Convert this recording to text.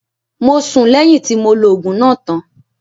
Mo sún lẹ́yìn tí mo lo oògùn náà tán.